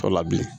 Tɔ la bilen